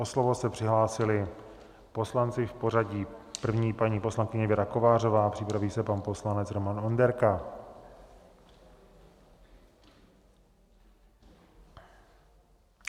O slovo se přihlásili poslanci v pořadí - první paní poslankyně Věra Kovářová, připraví se pan poslanec Roman Onderka.